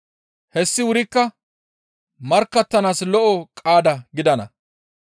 Hessi wurikka markkattanaas lo7o qaada gidana.